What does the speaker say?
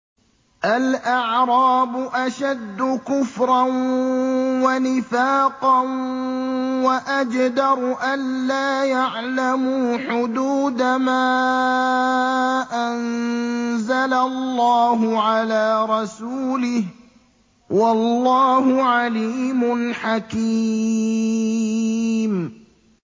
الْأَعْرَابُ أَشَدُّ كُفْرًا وَنِفَاقًا وَأَجْدَرُ أَلَّا يَعْلَمُوا حُدُودَ مَا أَنزَلَ اللَّهُ عَلَىٰ رَسُولِهِ ۗ وَاللَّهُ عَلِيمٌ حَكِيمٌ